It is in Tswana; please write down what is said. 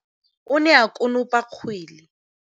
o ne a konopa kgwele.